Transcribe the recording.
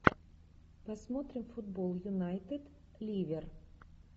посмотрим футбол юнайтед ливер